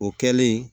O kɛlen